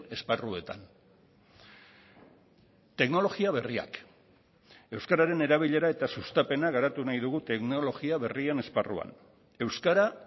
esparruetan teknologia berriak euskararen erabilera eta sustapena garatu nahi dugu teknologia berrien esparruan euskara